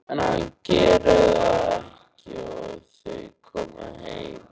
En hann gerir það ekki og þau koma heim.